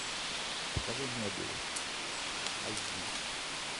покажи мебиус айч ди